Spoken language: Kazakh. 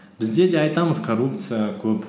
бізде де айтамыз коррупция көп